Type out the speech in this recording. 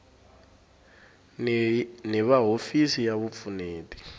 ni va hofisi ya vupfuneti